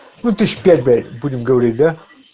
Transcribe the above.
ну тысяч пять будем говорить да